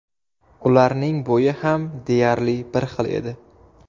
Ularning bo‘yi ham deyarli bir xil edi.